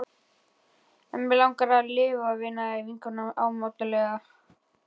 En mig langar að lifa, veinaði vinkonan ámátlega.